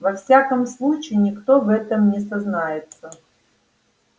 во всяком случае никто в этом не сознается